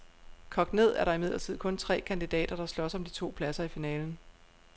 Kogt ned er der imidlertid kun tre kandidater, der slås om de to pladser i finalen.